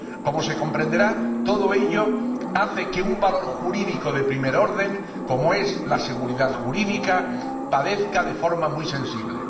Como se comprenderá, todo ello hace que un valor jurídico de primer orden, como es la seguridad jurídica, padezca de forma muy sensible.